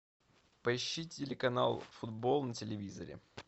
поищи телеканал футбол на телевизоре